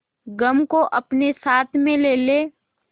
गम को अपने साथ में ले ले